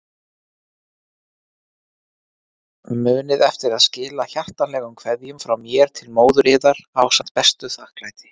Munið eftir að skila hjartanlegum kveðjum frá mér til móður yðar ásamt besta þakklæti.